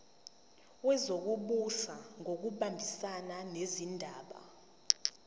wezokubusa ngokubambisana nezindaba